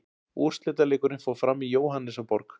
Úrslitaleikurinn fór fram í Jóhannesarborg.